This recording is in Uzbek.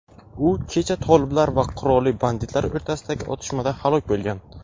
u kecha toliblar va qurolli banditlar o‘rtasidagi otishmada halok bo‘lgan.